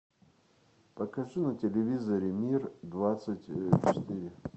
покажи на телевизоре мир двадцать четыре